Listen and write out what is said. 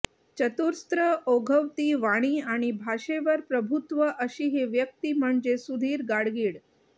चतुरस्र ओघवती वाणी आणि भाषेवर प्रभुत्व अशी ही व्यक्ती म्हणजे सुधीर गाडगीळ